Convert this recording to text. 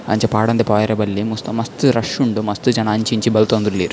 ಅಂಚ ಪಾಡಂದೆ ಪೋವರೆ ಬಲ್ಲಿ ಮಸ್ತ್ ಮಸ್ತ್ ರಶ್ ಉಂಡು ಮಸ್ತ್ ಜನ ಅಂಚಿ ಇಂಚಿ ಬಲ್ತೊಂದುಲ್ಲೆರ್.